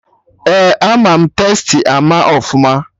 Ee, ama Tastee ama ọfụma